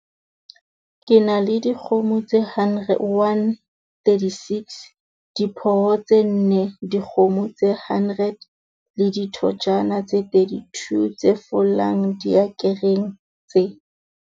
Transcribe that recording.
Ke na le dikgomo tse 136- dipoho tse nne, dikgomo tse 100 le dithojana tse 32 tse fulang diakereng tse.